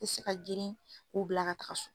I tɛ se ka girin k'u bila ka taaga so.